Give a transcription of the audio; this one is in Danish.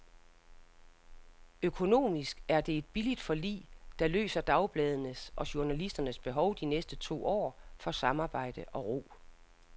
Økonomisk er det et billigt forlig, der løser dagbladenes og journalisternes behov de næste to år for samarbejde og ro.